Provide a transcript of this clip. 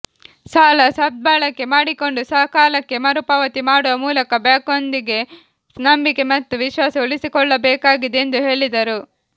ಸಾಲ ಸದ್ಬಳಕೆ ಮಾಡಿಕೊಂಡು ಸಕಾಲಕ್ಕೆ ಮರುಪಾವತಿ ಮಾಡುವ ಮೂಲಕ ಬ್ಯಾಂಕ್ನೊಂದಿಗೆ ನಂಬಿಕೆ ಮತ್ತು ವಿಶ್ವಾಸ ಉಳಿಸಿಕೊಳ್ಳಬೇಕಾಗಿದೆ ಎಂದು ಹೇಳಿದರು